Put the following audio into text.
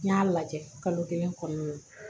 N y'a lajɛ kalo kelen kɔnɔna na